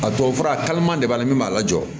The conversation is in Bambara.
A tubabufura a kalaman de b'a la min b'a lajɔ